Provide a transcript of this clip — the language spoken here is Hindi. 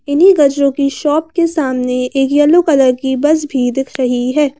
इन्हीं गजरों की शॉप के सामने एक येलो कलर की बस भी दिख रही है।